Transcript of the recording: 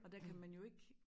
Og der kan man jo ik